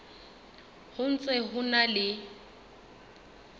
ho ntse ho na le